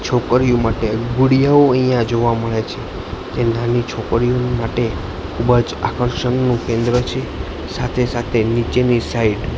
છોકરીઓ માટે ગુડીયાઓ અહીંયા જોવા મળે છે તે નાની છોકરીઓની માટે ખૂબ જ આકર્ષણનું કેન્દ્ર છે સાથે સાથે નીચેની સાઈડ --